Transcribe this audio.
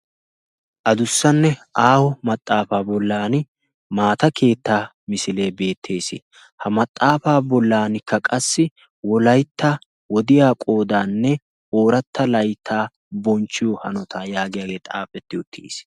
Adussanne aawo maxaafaa bollan maata keetta misilee beettees. ha maxaafaa bollankka qassi wolaytta wodiya qoodaanne ooratta layttaa bonchchiyo hanota yaagiyaagee xaafetti uttiis.